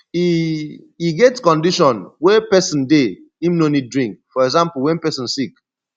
e e get condition wey person dey im no need drink for example when person sick